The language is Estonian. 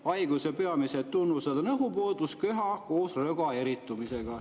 Haiguse peamised sümptomid on õhupuudus ja köha koos röga eritumisega.